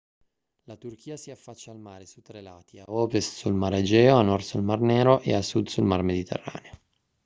la turchia si affaccia al mare su tre lati a ovest sul mar egeo a nord sul mar nero e a sud sul mar mediterraneo